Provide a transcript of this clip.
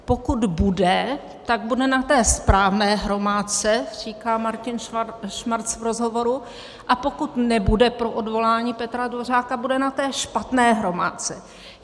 Pokud bude, tak bude na té správné hromádce, říká Martin Schmarcz v rozhovoru, a pokud nebude pro odvolání Petra Dvořáka, bude na té špatné hromádce.